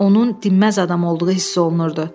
Onun dinməz adam olduğu hiss olunurdu.